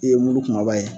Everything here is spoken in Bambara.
E ye muru kumaba ye